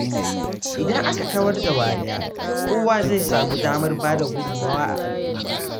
Idan aka kawar da wariya, kowa zai samu damar bada gudunmawa a al’umma.